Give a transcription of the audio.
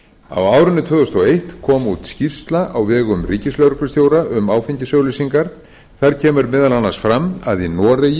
á árinu tvö þúsund og eitt kom út skýrsla á vegum ríkislögreglustjóra um áfengisauglýsingar þar kemur meðal annars fram að í noregi